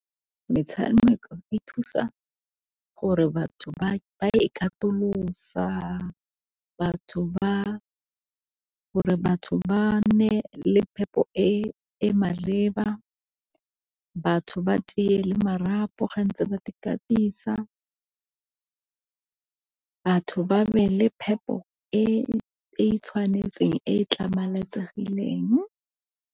Metshameko e thusa gore batho ba e katolosa batho ba, gore batho ba nne le phepo e e maleba batho ba tie le marapo ge ntse ba katisa batho ba be le phepo e tshwanetseng e tlhamaletsegileng.